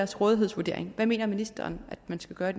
rådighedsvurdering hvad mener ministeren at man skal gøre